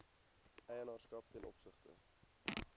eienaarskap ten opsigte